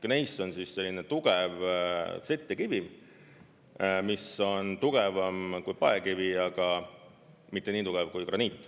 Gneiss on selline tugev settekivim, mis on tugevam kui paekivi, aga mitte nii tugev kui graniit.